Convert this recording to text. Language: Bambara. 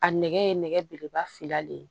A nɛgɛ ye nɛgɛ belebeleba fila de ye